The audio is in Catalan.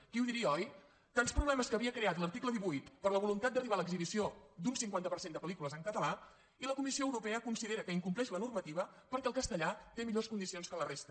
qui ho diria oi tants problemes que havia creat l’article divuit per la voluntat d’arribar a l’exhibició d’un cinquanta per cent de pel·lícules en català i la comissió europea considera que incompleix la normativa perquè el castellà té millors condicions que la resta